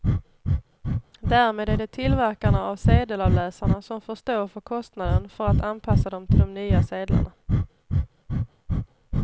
Därmed är det tillverkarna av sedelavläsarna som får stå för kostnaden för att anpassa dem till de nya sedlarna.